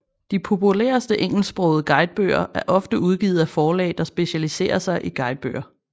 De populæreste engelsksprogede guidebøger er ofte udgivet af forlag der specialisere sig i guidebøger